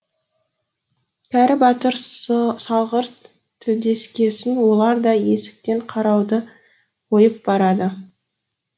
кәрі батыр салғырт тілдескесін олар да есіктен қарауды қойып барады